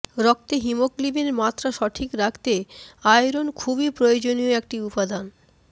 রক্তে হিমোগ্লোবিনের মাত্রা সঠিক রাখতে আয়রন খুবই প্রয়োজনীয় একটি উপাদান